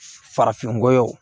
Farafinnɔgɔ